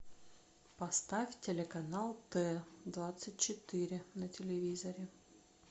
поставь телеканал т двадцать четыре на телевизоре